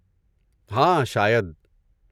ہاں، شاید۔